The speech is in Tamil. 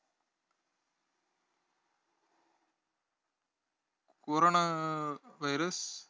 coronavirus